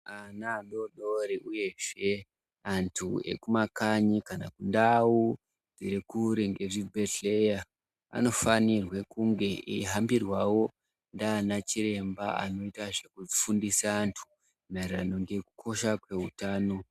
Ana adodori uyezve antu ekumakanyi kana kundau irikure ngezvibhehleya vanofanirwe kunge eihambirwawo ndiana chiremba anoita zvekufundisa antu maererano ngekukosha kweutano.